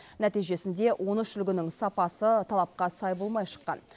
нәтижесінде он үш үлгінің сапасы талапқа сай болмай шыққан